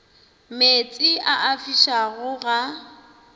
meetse a a fišago ga